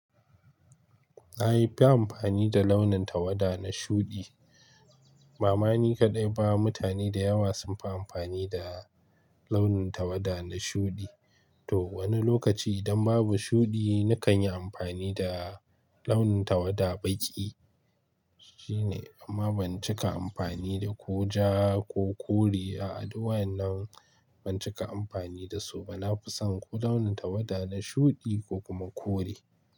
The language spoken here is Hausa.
Na fi yin amfani da launin tawada na shuɗi. Ba ma ni kaɗai ba mutane da yawa sun fi amfani da launin tawada na shuɗi. To wani lokaci idan babu shuɗi, nakan yi amfani da launin tawada baki. Shine, amma ban cika amfani da ko ja ko kore a a duk wadannan. Ban cika amfani da su ba. Na fi son ko launin tawada na shuɗi ko kuma kore.